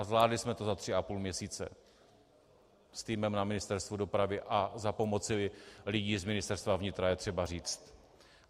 A zvládli jsme to za tři a půl měsíce s týmem na Ministerstvu dopravy - a za pomoci lidí z Ministerstva vnitra, je třeba říct.